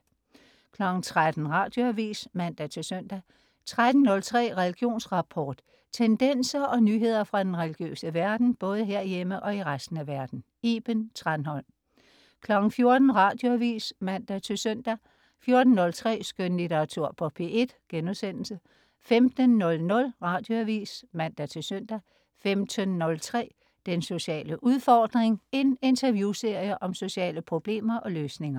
13.00 Radioavis (man-søn) 13.03 Religionsrapport. Tendenser og nyheder fra den religiøse verden, både herhjemme og i resten af verden. Iben Thranholm 14.00 Radioavis (man-søn) 14.03 Skønlitteratur på P1* 15.00 Radioavis (man-søn) 15.03 Den sociale udfordring. En interviewserie om sociale problemer og løsninger